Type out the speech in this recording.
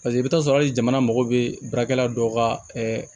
Paseke i bɛ taa sɔrɔ hali jamana mago bɛ baarakɛla dɔ ka